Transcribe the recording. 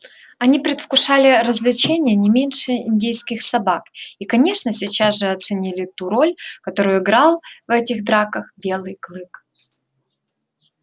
они предвкушали развлечение не меньше индейских собак и конечно сейчас же оценили ту роль какую играл в этих драках белый клык